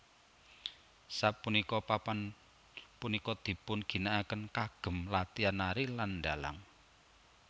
Sapunika papan punika dipun ginakaken kagem latihan nari lan ndhalang